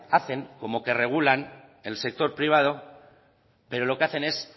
hacen como que regulan el sector privado pero lo que hacen es